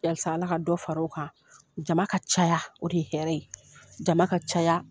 Halisa Ala ka dɔ fara o kan jama ka caya o de ye hɛrɛ ye jama ka ca.